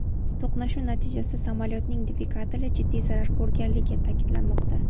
To‘qnashuv natijasida samolyotning dvigateli jiddiy zarar ko‘rganligi ta’kidlanmoqda.